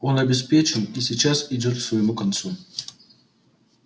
он обеспечен и сейчас идёт к своему концу